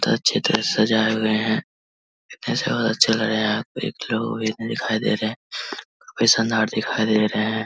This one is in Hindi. बोहोत अच्छी तरह सजाए हुए हैं। ऐसे बोहोत अच्छा लग रहा है यहाँ पे एक लोग दिखाई दे रहे हैं। दिखाई दे रहे है।